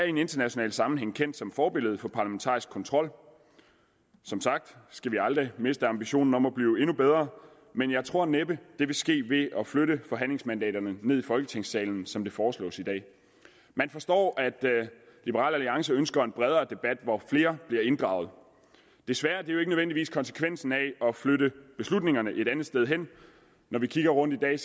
i en international sammenhæng er kendt som forbillede for parlamentarisk kontrol som sagt skal vi aldrig miste ambitionen om at blive endnu bedre men jeg tror næppe det vil ske ved at flytte forhandlingsmandaterne ned i folketingssalen som det foreslås i dag man forstår at liberal alliance ønsker en bredere debat hvor flere bliver inddraget desværre bliver det nødvendigvis konsekvensen af at flytte beslutningerne et andet sted hen når vi kigger rundt i dag